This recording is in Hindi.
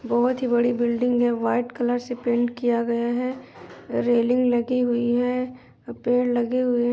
बोहोत ही बड़ी बिल्डिंग है वाईट कलर से पेंट किया गया है। रेलिंग लगी हुई है पेड़ लगे हुए --